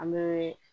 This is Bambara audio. An bɛ